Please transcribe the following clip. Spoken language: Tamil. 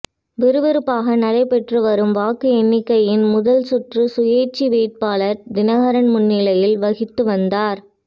விறுவிறுப்பாக நடைபெற்று வரும் வாக்கு எண்ணிக்கையின் முதல் சுற்று சுயேட்சை வேட்பாளர் தினகரன் முன்னிலை வகித்து வந்தார்